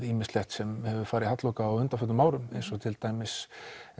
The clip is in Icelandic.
ýmislegt sem hefur farið halloka á undanförnum árum eins og til dæmis